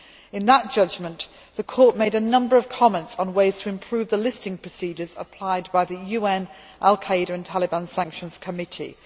In that judgment, the Court made a number of comments on ways to improve the listing procedures applied by the UN al Qaeda and Taliban Sanctions Committee.